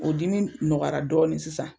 O dimi nɔgɔyara dɔɔni sisan.